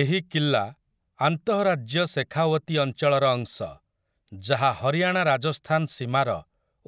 ଏହି କିଲ୍ଲା ଆନ୍ତଃରାଜ୍ୟ ଶେଖାୱତୀ ଅଞ୍ଚଳର ଅଂଶ, ଯାହା ହରିୟାଣା ରାଜସ୍ଥାନ ସୀମାର